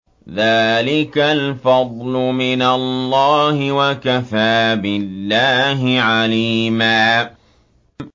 ذَٰلِكَ الْفَضْلُ مِنَ اللَّهِ ۚ وَكَفَىٰ بِاللَّهِ عَلِيمًا